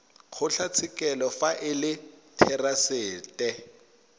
kgotlatshekelo fa e le therasete